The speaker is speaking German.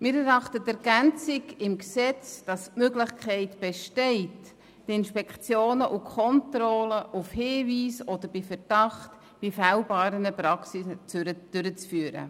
Wir erachten die Ergänzung im Gesetz als sinnvoll, wonach dann die Möglichkeit besteht, Inspektionen und Kontrollen auf Hinweis oder bei Verdacht bei fehlbaren Praxen durchzuführen.